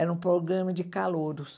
Era um programa de calouros.